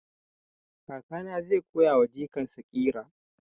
Kakana zai koya wa jikan sa ƙira